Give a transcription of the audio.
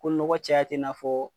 Ko nɔgɔ caya tɛ i n'a fɔ.